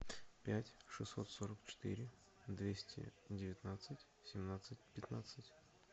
пять шестьсот сорок четыре двести девятнадцать семнадцать пятнадцать